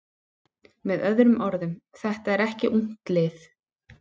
Með öðrum orðum: Þetta er ekki ungt lið.